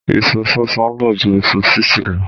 iṣu sisùn dùn jù iṣu ṣiṣẹ lọ.